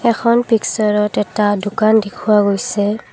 এখন পিকচাৰত এটা দোকান দেখুওৱা গৈছে।